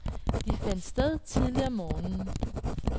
Det fandt sted tidligt om morgenen.